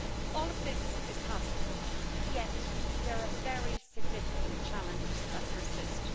All of this is positive, yet there are very significant challenges that persist.